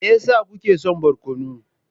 Me yasa kuke son barkono?